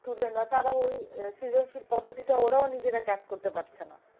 Student রা তারা ওই সৃজনশীল পদ্ধতিটা ওরাও নিজেরা catch করতে পারছে না।